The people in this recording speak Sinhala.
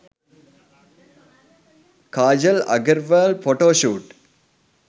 kajal agarwal photoshoot